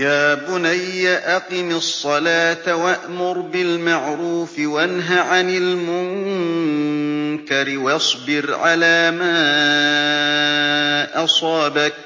يَا بُنَيَّ أَقِمِ الصَّلَاةَ وَأْمُرْ بِالْمَعْرُوفِ وَانْهَ عَنِ الْمُنكَرِ وَاصْبِرْ عَلَىٰ مَا أَصَابَكَ ۖ